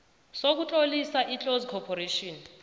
sokutlolisa iclose corporation